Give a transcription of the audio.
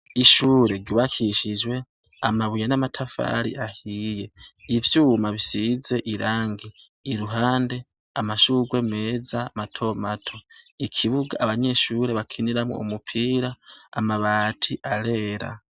Ishure ryubakishijwe amabuye n'amatafari ahiye, n'ivyuma bisize irangi. Iruhande amashurwe meza matomato. Ikibuga abanyeshure bakiniramwo umupira abati arera.